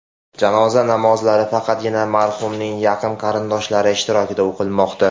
Janoza namozlari faqatgina marhumning yaqin qarindoshlari ishtirokida o‘qilmoqda.